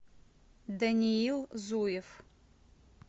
даниил зуев